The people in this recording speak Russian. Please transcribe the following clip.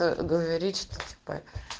ээ говорит что типа